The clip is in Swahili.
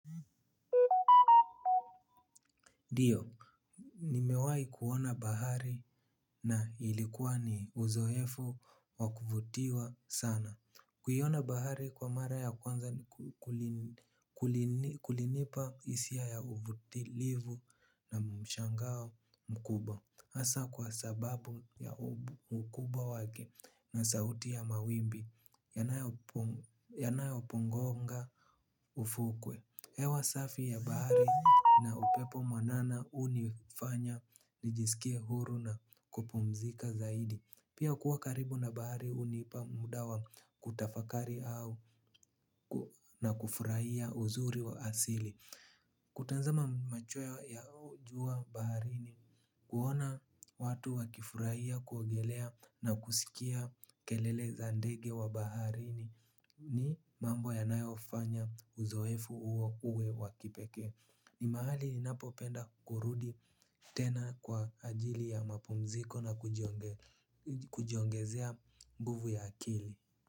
Ndiyo, nimewai kuona bahari na ilikuwa ni uzoefu wa kuvutiwa sana. Kuiona bahari kwa mara ya kwanza kulinipa hisia ya uvutilivu na mshangao mkubwa. Hasa kwa sababu ya ukubwa wake na sauti ya mawimbi yanayopongonga ufukwe. Hewa safi ya bahari na upepo mwanana hunifanya nijisikie huru na kupumzika zaidi. Pia kuwa karibu na bahari hunipa muda wa kutafakari au na kufurahia uzuri wa asili. Kutazama machweo ya jua baharini kuona watu wakifurahia kuogelea na kusikia kelele za ndege wa baharini ni mambo yanayofanya uzoefu huo uwe wa kipekee. Ni mahali ninapopenda kurudi tena kwa ajili ya mapumziko na kujiongezea nguvu ya akili.